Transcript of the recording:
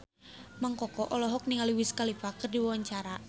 Mang Koko olohok ningali Wiz Khalifa keur diwawancara